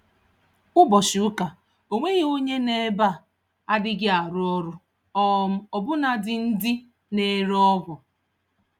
Ụbọchị Ụka, Onweghi onye nọ ebeaa adịghị arụ ọrụ, um ọbụna dị ndị na ere ọgwụ